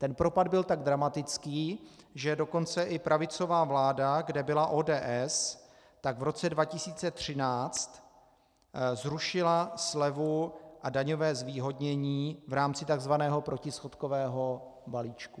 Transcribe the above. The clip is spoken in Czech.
Ten propad byl tak dramatický, že dokonce i pravicová vláda, kde byla ODS, tak v roce 2013 zrušila slevu a daňové zvýhodnění v rámci tzv. protischodkového balíčku.